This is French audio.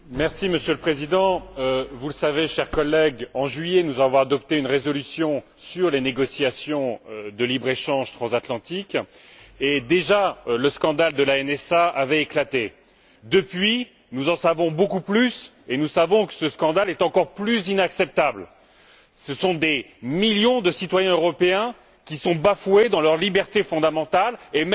Monsieur le Président, chers collègues, vous le savez, en juillet, nous avons adopté une résolution sur les négociations de libre échange transatlantique et, déjà, le scandale de la NSA avait éclaté. Depuis, nous en savons beaucoup plus, et nous savons que ce scandale est encore plus inacceptable. Ce sont des millions de citoyens européens qui sont bafoués dans leurs libertés fondamentales et,